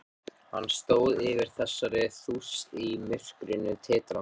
Hann stóð yfir þessari þúst í myrkrinu, titrandi.